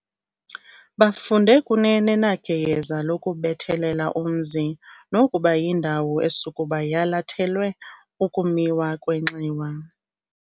Bafunde kunene nageyeza lokubethelela umzi nokuba yindawo esukuba yalathelwe ukumiwa kwenxiwa.